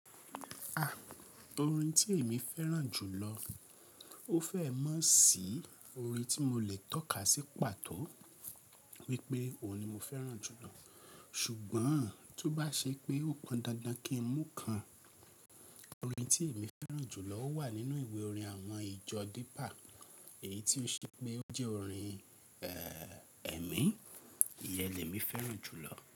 Orin tí èmi féràn jù lọ, ó fẹ́ mọ̀ sí orin tí mo lè tọ́ka sí pàtó wípé òun ni mo féràn jù lọ. Ṣùgbọ́n to bá ṣe pé ó pọn dandan kí n mú kan, orin tí èmi fẹ́ràn jù lọ ó wà nínú ìwé orin àwọn ìjọ deeper. Èyí tí ó ṣe pé ó jẹ́ orin ẹ̀mí, ìyẹn lè mí féràn jù lọ.